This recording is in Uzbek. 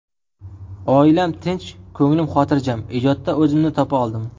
Oilam tinch, ko‘nglim xotirjam, ijodda o‘zimni topa oldim.